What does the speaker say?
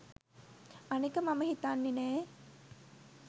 අනෙක මම හිතන්නෙ නෑ